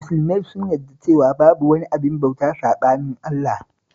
Musulmai sun yarda cewa babu wani abin bauta saɓanin Allah